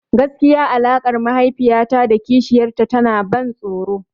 Gaskiya alaƙar mahaifiya ta da kishiyar ta tana ban tsoro.